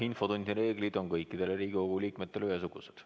Infotunni reeglid on kõikidele Riigikogu liikmetele ühesugused.